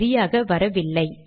சரியாக வரவில்லை